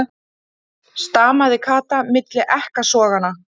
stamaði Kata milli ekkasoganna.